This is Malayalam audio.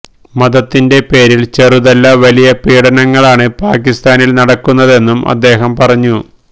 മതത്തിന്റെ പേരില് ചെറുതല്ല വലിയ പീഡനങ്ങളാണ് പാക്കിസ്ഥാനില് നടക്കുന്നതെന്നും അദ്ദേഹം പറഞ്ഞു